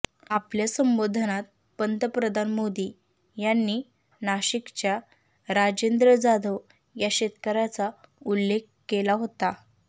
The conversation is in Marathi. आपल्या संबोधनात पंतप्रधान मोदी यांनी नाशिकच्या राजेंद्र जाधव या शेतकऱ्याचा उल्लेख केला होता